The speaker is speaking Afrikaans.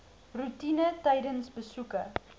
roetine tydens besoeke